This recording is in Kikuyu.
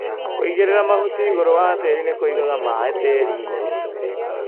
Kũigĩrĩra mahuti igũrũ wa tĩri nĩ kũigaga maĩ tĩrinĩ.